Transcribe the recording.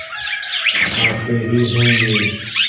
आते ही होंगे